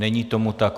Není tomu tak.